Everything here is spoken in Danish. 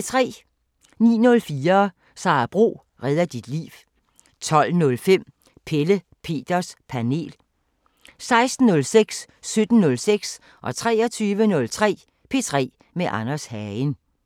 09:04: Sara Bro redder dit liv 12:05: Pelle Peters Panel 16:06: P3 med Anders Hagen 17:06: P3 med Anders Hagen 23:03: P3 med Anders Hagen